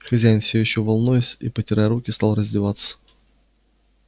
хозяин всё ещё волнуясь и потирая руки стал раздеваться